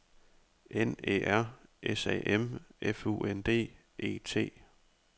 N Æ R S A M F U N D E T